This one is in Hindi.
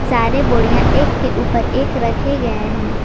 सारे बोरिया एक के ऊपर एक रखे गए है।